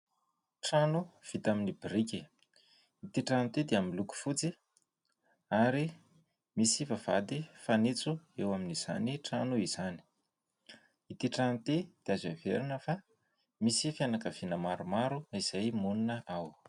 Trano vita amin'ny biriky. Ity trano ity dia miloko fotsy ary misy vavahady fanitso eo amin'izany trano izany. Ity trano ity dia azo heverina fa misy fianakaviana maromaro izay monina ao.